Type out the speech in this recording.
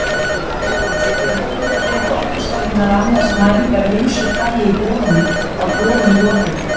Jarðhitadeild Orkustofnunar annaðist mælingar af ýmsu tagi í holunum að borun lokinni.